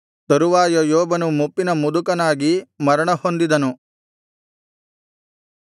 ತರುವಾಯ ಯೋಬನು ಮುಪ್ಪಿನ ಮುದುಕನಾಗಿ ಮರಣ ಹೊಂದಿದನು